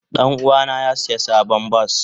Danuwa na ya siya sabon bas.